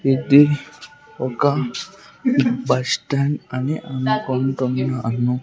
ఇది ఒక bus stand అని అనుకుంటున్నాను.